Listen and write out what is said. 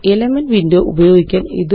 elements window ഉപയോഗിക്കല്